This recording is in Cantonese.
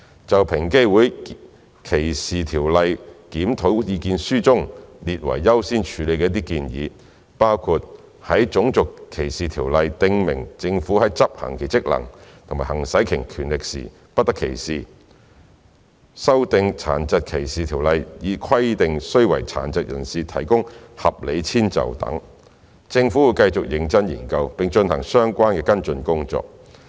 就平機會歧視條例檢討意見書中列為優先處理的一些建議，包括在《種族歧視條例》訂明政府在執行其職能和行使其權力時不得歧視、修訂《殘疾歧視條例》以規定須為殘疾人士提供合理遷就等，政府會繼續認真研究，並進行相關跟進工作。